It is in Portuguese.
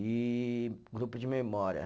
E grupo de memória.